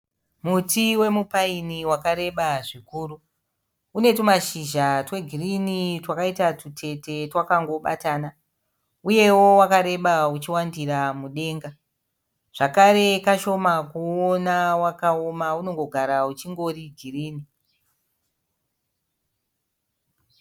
Muti wemupiini wakareba zvikuru, une tumashizha twegirini twakaita twutete twakangobatana, uyewo wakareba uchiwandira mudenga, zvakare kashoma kuuona wakaoma, unongogara uchingori girini.